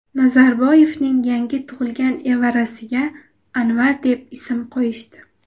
Nazarboyevning yangi tug‘ilgan evarasiga Anvar deb ism qo‘yishdi.